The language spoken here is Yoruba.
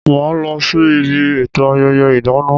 Ma losi ibi eto ayẹyẹ ìdáná